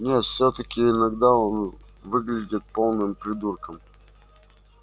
нет всё-таки иногда он выглядит полным придурком